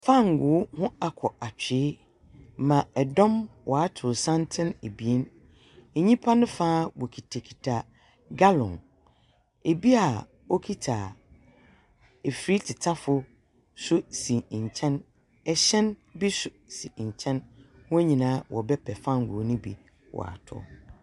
Fangoo ho akɔ atwee ma ɛdɔm w'ato santen abien anopa ne faa woketa keta galɔn ebia woketa afiri tetafo nso si nkyen ɛhy3n bi nso si nkyen wo nyinaa wobɛpɛ fangoo no bi w'atɔ.